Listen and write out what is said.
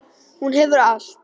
Hún hefur allt.